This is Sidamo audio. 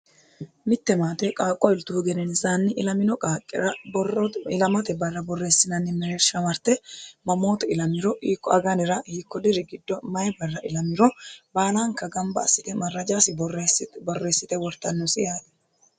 mittemaate qaaqqo iltuhu genenisaanni ilamino qaaqqira borro ilamote barra borreessinanni mereersha marte mamooto ilamiro hiiko aganira hiikko diri giddo mayi barra ilamiro baalaanka gamba assite marrajaasi borreessite wortannosi yaate.